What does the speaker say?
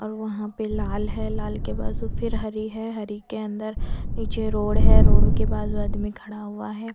और वहाँ पे लाल है लाल के बाजू फिर हरी है हरी के अंदर नीचे रोड है रोड के बाजू आदमी खड़ा हुआ है।